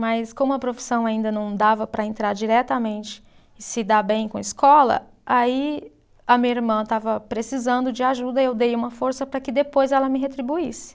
Mas como a profissão ainda não dava para entrar diretamente e se dar bem com a escola, aí a minha irmã estava precisando de ajuda e eu dei uma força para que depois ela me retribuísse.